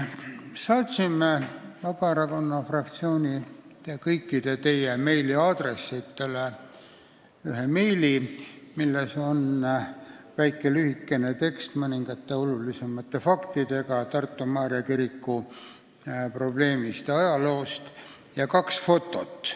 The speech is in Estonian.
Me saatsime Vabaerakonna fraktsiooni ja teie kõikide meiliaadressidele meili, milles on lühikene tekst, kus on mõningad olulisemad faktid Tartu Maarja kiriku probleemist ja ajaloost ja kaks fotot.